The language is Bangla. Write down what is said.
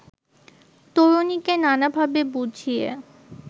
তরুণীকে নানাভাবে বুঝিয়ে